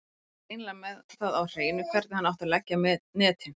Hann var greinilega með það á hreinu hvernig hann átti að leggja netin.